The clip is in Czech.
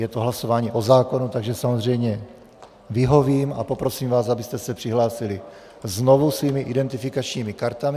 Je to hlasování o zákonu, takže samozřejmě vyhovím a poprosím vás, abyste se přihlásili znovu svými identifikačními kartami...